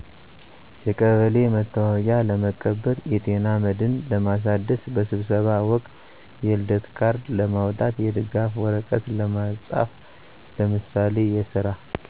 የቀበሌ መታወቂያ ለመቀበል የጤና መድህን ለማሳደስ በስብሰባ ወቅት የልደት ካርድ ለማዉጣት የድጋፍ ወረቀት ለማፃፍ ለምሳሌ የስራ